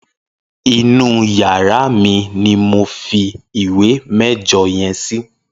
Inú iyàrá mi mi mó fi ìwé mẹjọ yèn si